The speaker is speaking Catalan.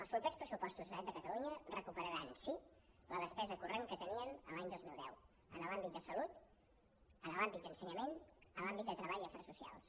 els propers pressupostos de la generalitat de catalunya recuperaran sí la despesa corrent que tenien l’any dos mil deu en l’àmbit de salut en l’àmbit d’ensenyament en l’àmbit de treball i afers socials